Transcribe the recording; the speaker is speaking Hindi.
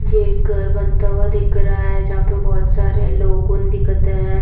ये एक घर बनता हुआ दिख रहा है जहाँ पे बोहत सारे लोगन दिखत है।